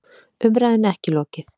Umræðunni ekki lokið